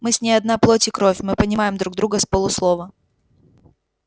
мы с ней одна плоть и кровь мы понимаем друг друга с полуслова